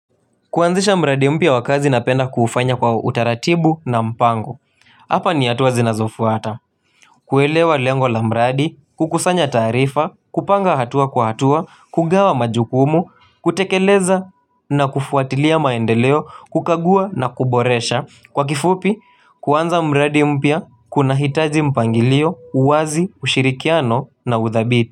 Kuanzisha mradi mpia wa kazi napenda kufanya kwa utaratibu na mpango. Hapa ni hatuwa zinazofuata. Kuelewa lengo la mbradi, kukusanya tarifa, kupanga hatua kwa hatua, kugawa majukumu, kutekeleza na kufuatilia maendeleo, kukagua na kuboresha. Kwa kifupi, kuanza mradi mpya, kuna hitaji mpangilio, uwazi, ushirikiano na uthabiti.